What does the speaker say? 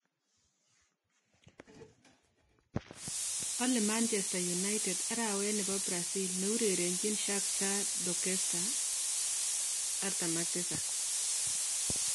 ale manchester united arawet nepo brazil ne urerenjin shakhtar Donetsk �47